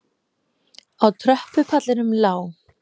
Á tröppupallinum lá